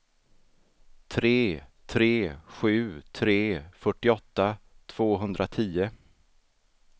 tre tre sju tre fyrtioåtta tvåhundratio